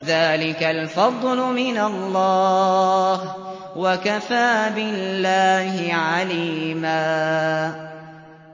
ذَٰلِكَ الْفَضْلُ مِنَ اللَّهِ ۚ وَكَفَىٰ بِاللَّهِ عَلِيمًا